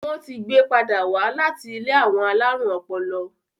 Wón tí gbé pàdà wá là tí ilé àwọn alarun ọpọlọ